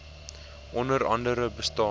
onder andere bestaan